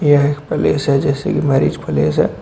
यह एक प्लेस है जैसे की मैरिज प्लेस है।